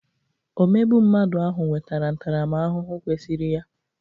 Omegbu mmadụ ahụ nwetara ntaramahụhụ kwesịrị ya.